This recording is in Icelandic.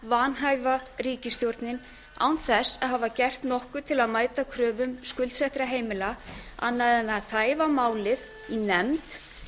vanhæfa ríkisstjórnin án þess að hafa gert nokkuð til að mæta kröfum skuldsettra heimila annað en að þæfa málið í nefnd